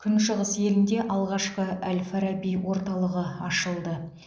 күншығыс елінде алғашқы әл фараби орталығы ашылды